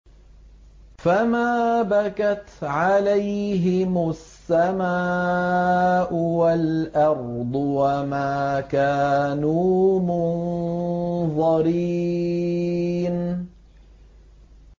فَمَا بَكَتْ عَلَيْهِمُ السَّمَاءُ وَالْأَرْضُ وَمَا كَانُوا مُنظَرِينَ